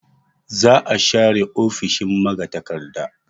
Za a share ofishin magatakarda.